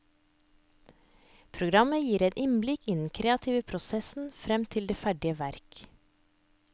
Programmet gir et innblikk i den kreative prosessen frem til det ferdige verk.